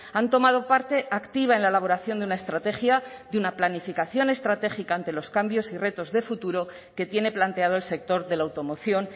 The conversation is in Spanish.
han tomado parte activa en la elaboración de una estrategia de una planificación estratégica ante los cambios y retos de futuro que tiene planteado el sector de la automoción